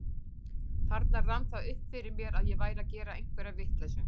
Þarna rann það upp fyrir mér að ég væri að gera einhverja vitleysu.